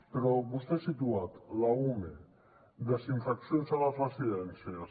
però vostè ha situat l’ume desinfeccions a les residències